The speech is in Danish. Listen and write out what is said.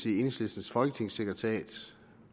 i enhedslistens folketingssekretariat